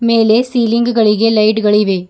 ಮೇಲೆ ಸೀಲಿಂಗ್ ಗಳಿಗೆ ಲೈಟ್ ಗಳಿವೆ.